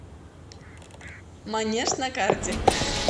манеж на карте